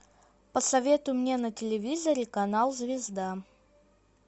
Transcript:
посоветуй мне на телевизоре канал звезда